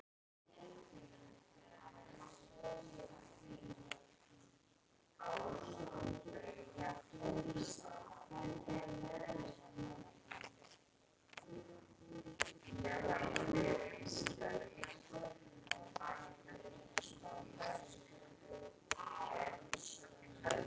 En ég var það ekki.